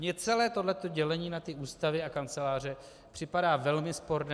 Mně celé tohle dělení na ty ústavy a kanceláře připadá velmi sporné.